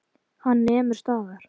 Hann nemur staðar.